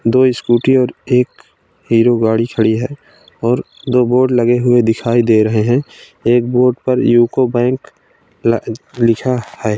दो स्कूटी और एक हीरो गाड़ी खड़ी है और दो बोर्ड लगे हुए दिखाई दे रहें हैं और एक बोर्ड पर यूको बैंक ल लिखा है ।